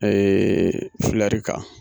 kan.